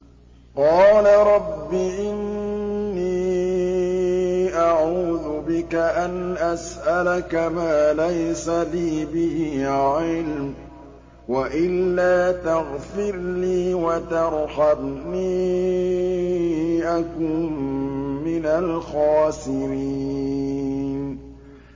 قَالَ رَبِّ إِنِّي أَعُوذُ بِكَ أَنْ أَسْأَلَكَ مَا لَيْسَ لِي بِهِ عِلْمٌ ۖ وَإِلَّا تَغْفِرْ لِي وَتَرْحَمْنِي أَكُن مِّنَ الْخَاسِرِينَ